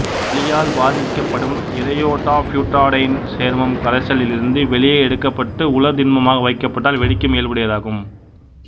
ஒளியால் பாதிக்கப்படும் ஈரயோடோபியூட்டாடையீன் சேர்மம் கரைசலில் இருந்து வெளியே எடுக்கப்பட்டு உலர் திண்மமாக வைக்கப்பட்டால் வெடிக்கும் இயல்புடையதாகும்